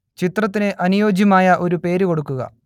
ചിത്രത്തിനു അനുയോജ്യമായ ഒരു പേരു കൊടുക്കുക